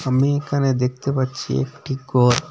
আমি এখানে দেখতে পাচ্ছি একটি কর ।